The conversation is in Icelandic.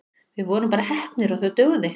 Við vorum bara heppnir og það dugði.